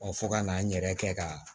fo ka n'an yɛrɛ kɛ ka